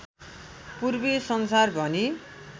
पूर्वी संसार भनी